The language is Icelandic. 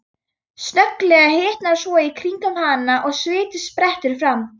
Snögglega hitnar svo í kringum hana að sviti sprettur fram.